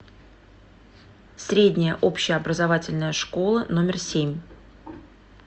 средняя общеобразовательная школа номер семь